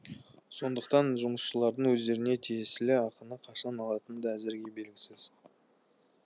сондықтан жұмысшылардың өздеріне тиесілі ақыны қашан алатыны да әзірге белгісіз